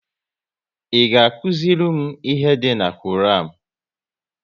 Ị ga akụziri m ihe dị na Koran?